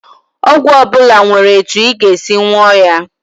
Ọgwụ ọbụla nwere etu ị ga-esi nwụọ ya